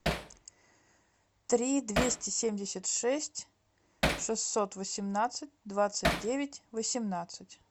три двести семьдесят шесть шестьсот восемнадцать двадцать девять восемнадцать